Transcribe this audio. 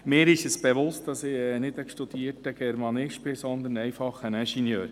Ich bin mir bewusst, dass ich kein studierter Germanist bin, sondern ein einfacher Ingenieur.